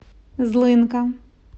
злынка